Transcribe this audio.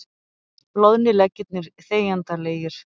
Loðnir leggirnir þegjandalegir.